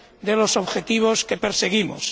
de los objetivos que perseguimos.